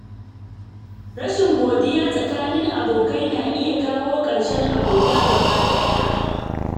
Rashin godiya tsakanin abokai na iya kawo ƙarshen abota gaba ɗaya.